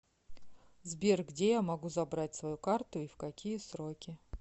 сбер где я могу забрать свою карту и в какие сроки